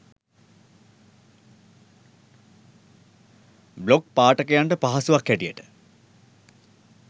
blog පාඨකයන්ට පහසුවක් හැටියට